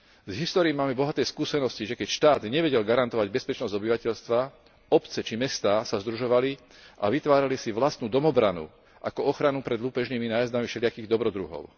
Z histórie máme bohaté skúsenosti, že keď štát nevedel garantovať bezpečnosť obyvateľstva, obce či mestá sa združovali a vytvárali si vlastnú domobranu ako ochranu pred lúpežnými nájazdmi všelijakých dobrodruhov.